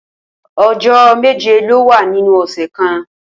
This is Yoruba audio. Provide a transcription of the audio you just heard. O̩jó̩ méje ló wà nínú ò̩sè̩ kan